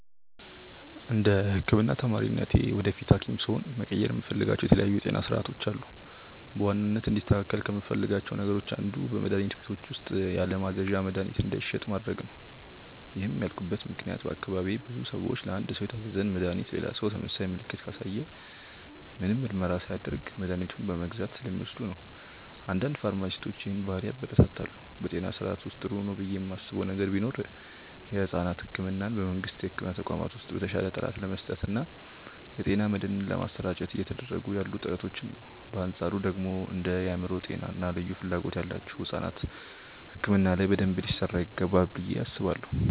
እንደ ህክምና ተማሪነቴ ወደፊት ሀኪም ስሆን መቀየር የምፈልጋቸው የተለያዩ የጤና ስርዓቶች አሉ። በዋናነት እንዲስተካከል ከምፈልጋቸው ነገሮች አንዱ በመድሀኒት ቤቶች ውስጥ ያለማዘዣ መድሀኒት እንዳይሸጥ ማድረግ ነው። ይህን ያልኩበት ምክንያት በአካባቢዬ ብዙ ሰዎች ለአንድ ሰው የታዘዘን መድሃኒት ሌላ ሰው ተመሳሳይ ምልክትን ካሳየ ምንም ምርመራ ሳያደርግ መድኃኒቱን በመግዛት ስለሚወስዱ ነው። አንዳንድ ፋርማሲስቶች ይህንን ባህሪ ያበረታታሉ። በጤና ስርዓቱ ውስጥ ጥሩ ነው ብዬ ማስበው ነገር ቢኖር የሕፃናት ሕክምናን በመንግስት የሕክምና ተቋማት ውስጥ በተሻለ ጥራት ለመስጠት እና የጤና መድህን ለማሰራጨት እየተደረጉ ያሉ ጥረቶችን ነው። በአንፃሩ ደግሞ እንደ የአእምሮ ጤና እና ልዩ ፍላጎት ያላቸው ሕፃናት ሕክምና ላይ በደንብ ሊሰራ ይገባል ብዬ አስባለሁ።